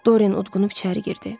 Doren udqunub içəri girdi.